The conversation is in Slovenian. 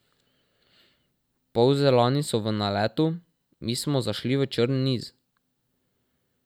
Polzelani so v naletu, mi smo zašli v črn niz.